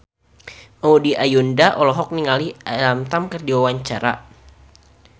Maudy Ayunda olohok ningali Alam Tam keur diwawancara